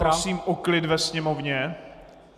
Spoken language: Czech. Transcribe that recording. Prosím o klid ve Sněmovně.